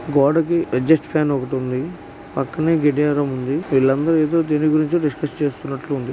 గోడకి adjust fan ఒకటుంది పక్కనే గడియారం వుంది వీళ్ళందరూ ఎదో దేనిగురించో డిస్కస్ చేస్తున్నట్లుంది.